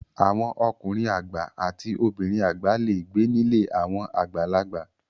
Àwọn ọkùnrin àgbà àti obìnrin àgbà le gbé nílé àwọn àgbàlagbà.